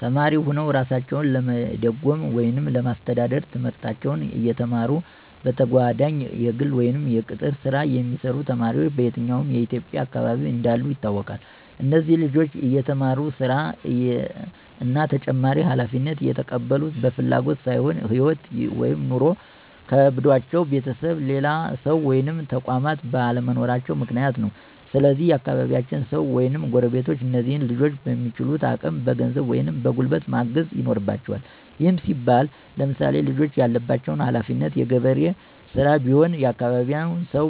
ተማሪ ሁነዉ እራሳቸዉን ለመደጎም ወይም ለማስተዳደር፤ ትምህርታቸዉን እየተማሩ በተጋጓዳኝ የግል ወይም የቅጥር ሥራ የሚሰሩ ተማሪዎች በየትኛዉም የኢትዬጵያ አካባቢ እንዳሉ ይታወቃል። እነዚህ ልጆች እየተማሩ ሥራ እና ተጨማሪ ሀላፊነት የተቀበሉት በፍላጎት ሳይሆን ህይወት (ኑሮ) ከብዷቸዉ ቤተሰብ፣ ሌላ ሰዉ ወይም ተቋማት ባለመኖራቸዉ ምክንያት ነው። ስለዚህ የአካባቢያቸዉ ሰዉ ወይም ጎረቤቶች እነዚህን ልጆች በሚችሉት አቅም በገንዘብ ወይም በጉልበት ማገዝ ይኖርበቸዋል። ይህም ሲባል ለምሳሌ፦ ልጆቹ ያለባቸው ሀለፊነት የገበሬ ሥራ ቢሆን የአካባቢያቸው ሰዉ